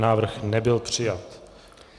Návrh nebyl přijat.